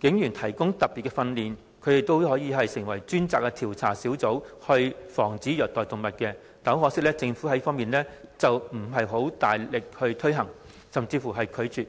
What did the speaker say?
警員提供特別訓練，讓他們成為專責調查小組，防止動物受虐待，但很可惜，政府沒有大力推行、甚至拒絕推行。